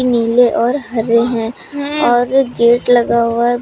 नीले और हरे हैं और गेट लगा हुआ है।